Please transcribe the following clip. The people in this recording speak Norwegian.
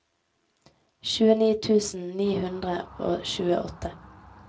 tjueni tusen ni hundre og tjueåtte